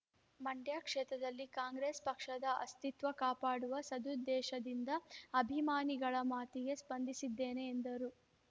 ಮಂಡ್ಯ ಕ್ಷೇತ್ರದಲ್ಲಿ ಕಾಂಗ್ರೆಸ್‌ ಪಕ್ಷದ ಅಸ್ತಿತ್ವ ಕಾಪಾಡುವ ಸದುದ್ದೇಶದಿಂದ ಅಭಿಮಾನಿಗಳ ಮಾತಿಗೆ ಸ್ಪಂದಿಸಿದ್ದೇನೆ ಎಂದರು